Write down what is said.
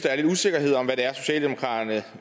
er lidt usikkerhed om hvad det er socialdemokratiet